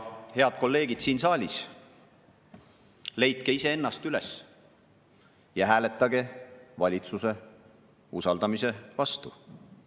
Head kolleegid siin saalis, leidke iseennast üles ja hääletage valitsuse usaldamise vastu!